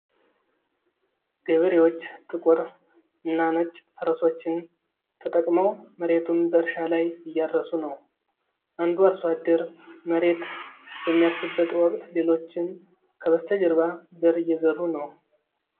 ገበሬዎች ጥቁር እና ነጭ ፈረሶችን ተጠቅመው መሬቱን በእርሻ ላይ እያረሱ ነው። አንዱ አርሶ አደር መሬት በሚያርስበት ወቅት፣ ሌሎችም ከበስተጀርባ ዘር እየዘሩ ነው።